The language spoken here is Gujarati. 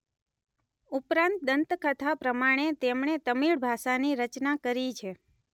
ઉપરાંત દંતકથા પ્રમાણે તેમણે તમીળ ભાષાની રચના કરી છે.